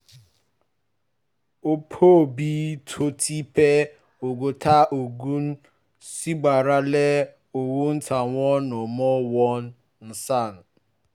ọ̀pọ̀ òbí tó ti pé ọgọ́ta ọdún ṣi gbára lé owó táwọn ọmọ wọn ń san